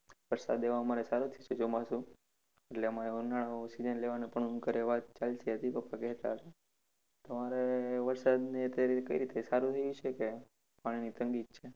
વરસાદએ અમારે સારો થયો છે ચોમાસુ. એટલે અમારે ઉનાળું season લેવાનુ પણ ઘરે વાત ચાલતી હતી પપ્પા કહેતા હતા. તમારે વરસાદની અત્યારે કઈ રિતે સારુ રહ્યું છે કે પાણીની તંગી જ છે?